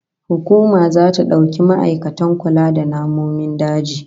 Hukuma zata dauki ma'aikatan kula da namomin daji